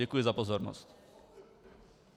Děkuji za pozornost.